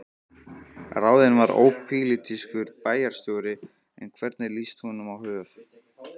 Ráðinn var ópólitískur bæjarstjóri, en hvernig líst honum á Hof?